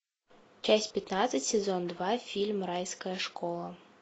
часть пятнадцать сезон два фильм райская школа